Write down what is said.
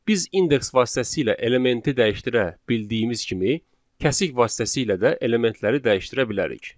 Biz indeks vasitəsilə elementi dəyişdirə bildiyimiz kimi, kəsik vasitəsilə də elementləri dəyişdirə bilərik.